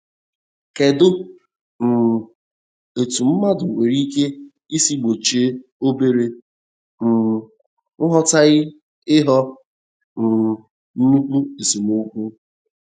Kedụ um etú mmadụ nwere ike ịsi gbochie obere um nghọtahie ịghọ um nnukwu esemokwu?